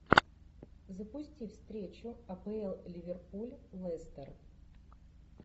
запусти встречу апл ливерпуль лестер